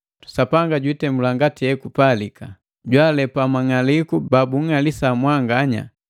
Sapanga jwiitemula ngati hekupalika: Jwaalepa mang'aliku baunng'alisa mwanganya,